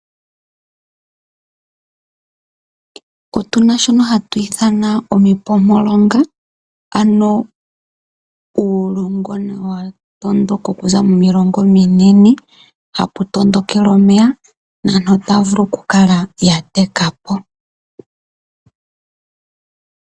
Otuna shono hatu itha omipompolonga, ano uulongona watondoka okuza momilonga ominene, ha pu tondokele omeya, mpono aantu ha ya vulu oku kala yateka po.